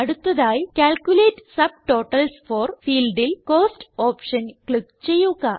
അടുത്തതായി calculate subtotals for ഫീൽഡിൽ cost option click ചെയ്യുക